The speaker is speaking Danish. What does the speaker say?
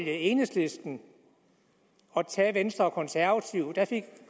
enhedslisten og tage venstre og konservative der fik